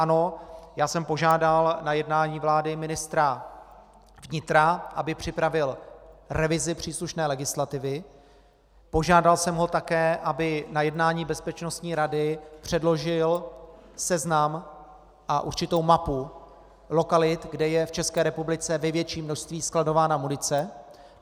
Ano, já jsem požádal na jednání vlády ministra vnitra, aby připravil revizi příslušné legislativy, požádal jsem ho také, aby na jednání Bezpečnostní rady předložil seznam a určitou mapu lokalit, kde je v České republice v největším množství skladována munice.